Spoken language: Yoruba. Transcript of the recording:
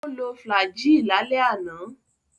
Ó lo Flagyl lálẹ́ àná.